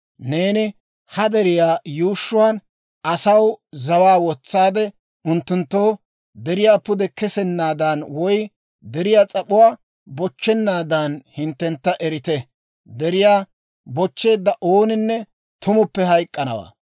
Neeni ha deriyaa yuushshuwaan asaw zawaa wotsaade unttunttoo, ‹Deriyaa pude kesenaadan woy deriyaa s'ap'uwaa bochchennaadan hinttentta erite. Deriyaa bochcheedda ooninne tumuppe hayk'k'anawaa.